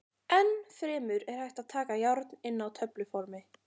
Enn fremur er hægt að taka járn inn á töfluformi.